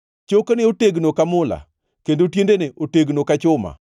Chokene otegno ka mula, kendo tiendene otegno ka chuma.